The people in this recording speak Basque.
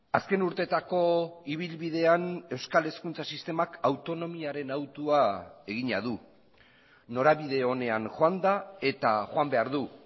azken urteetako ibilbidean euskal hezkuntza sistemak autonomiaren hautua egina du norabide onean joan da eta joan behar du